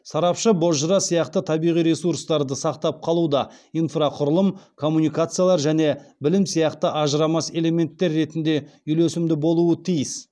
сарапшы бозжыра сияқты табиғи ресурстарды сақтап қалуда инфрақұрылым коммуникациялар және білім сияқты ажырамас элементтер ретінде үйлесімді болуы тиіс